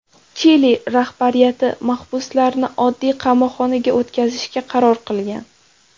Chili rahbariyati mahbuslarni oddiy qamoqxonaga o‘tkazishga qaror qilgan.